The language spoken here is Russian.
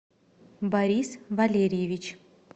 борис валерьевич